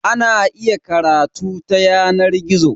Ana iya karatu ta yanar gizo.